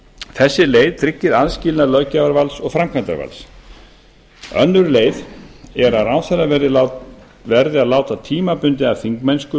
þessi leið tryggir aðskilnað löggjafarvalds og framkvæmdarvalds önnur leið er að ráðherra verði að láta tímabundið af þingmennsku